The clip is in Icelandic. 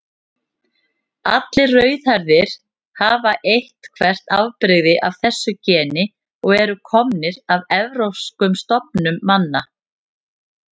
Allir rauðhærðir hafa eitthvert afbrigði af þessu geni og eru komnir af evrópskum stofnum manna.